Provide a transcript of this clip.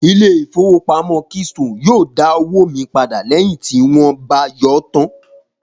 Ilé ìfowópamọ́ keystone yóò dá owó mi padà lẹ́yìn tí wón bá yọọ́ tán